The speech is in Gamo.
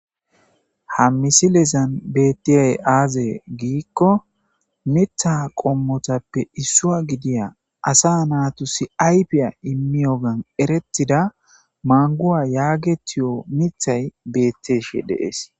Ha misilezan bettiyay aaze giikko mitha qommotappe issua gidiya asa naatu si aypiya immiyogan erettida manguwa yaagetiyo mithay betteeshe deees.